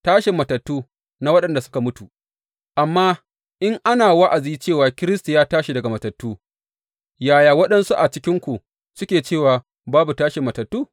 Tashin matattu na waɗanda suka mutu Amma in ana wa’azi cewa Kiristi ya tashi daga matattu, yaya waɗansu a cikinku suke cewa babu tashin matattu?